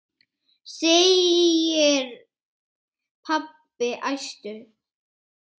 segir pabbi æstur.